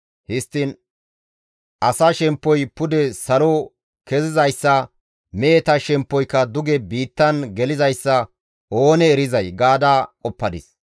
Histtiin asaa shemppoy pude salo kezizayssa, meheta shemppoyka duge biittan gelizayssa oonee erizay?» gaada qoppadis.